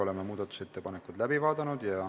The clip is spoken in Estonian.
Oleme muudatusettepanekud läbi vaadanud.